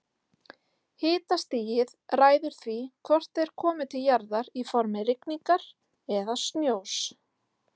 Hitastigið ræður því hvort þeir komi til jarðar í formi rigningar eða snjós.